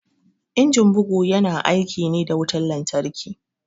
Injin bugu ya na aiki ne da wutan lantarki